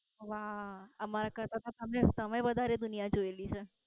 વાહ, અમારા કરતા તો તમે તમે વધારે દુનિયા જોયેલી છે.